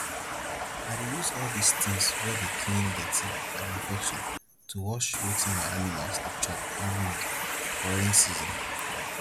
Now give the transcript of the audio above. i dey use all dis tins wey dey clean dirty and infection to wash wetin my animals dey chop every week for rain season